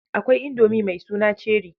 Akwai indomi mai suna Cheri